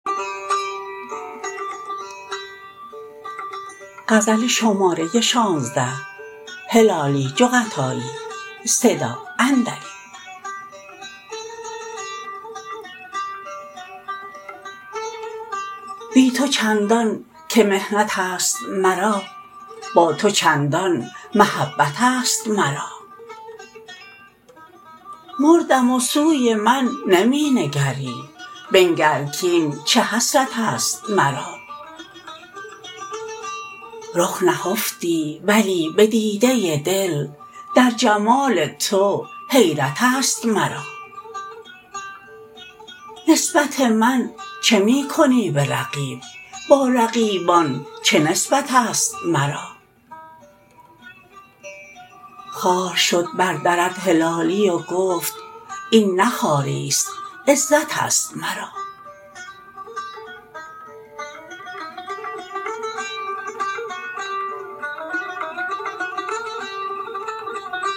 بی تو چندان که محنتست مرا با تو چندان محبتست مرا مردم و سوی من نمی نگری بنگر کین چه حسرتست مرا رخ نهفتی ولی بدیده دل در جمال تو حیرتست مرا نسبت من چه می کنی برقیب با رقیبان چه نسبتست مرا خوار شد بر درت هلالی و گفت این نه خواریست عزتست مرا